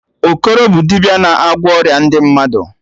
Okoro bụ dibịa na-agwọ ọrịa ndị mmadụ